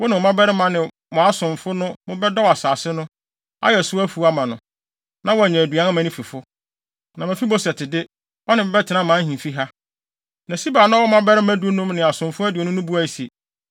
Wo ne wo mmabarima ne mo asomfo na mobɛdɔw asase no, ayɛ so mfuw ama no, na wanya aduan ama ne fifo. Na Mefiboset de, ɔne me bɛtena mʼahemfi ha.” Na Siba a na ɔwɔ mmabarima dunum ne asomfo aduonu no buae se,